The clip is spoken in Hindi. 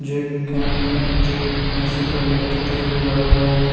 जो एक कैमरा का जो लेंस होता है लाइट होता है ओ लगा हुआ है।